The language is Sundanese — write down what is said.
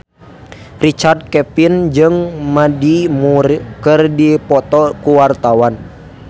Richard Kevin jeung Mandy Moore keur dipoto ku wartawan